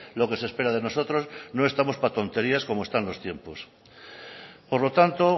lo que se espera de nosotros no estamos para tonterías como están los tiempos por lo tanto